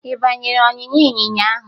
Ị banyere ọnyịnya ịnyịnya ahụ?